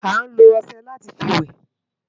Ániló òṣè láti fi wè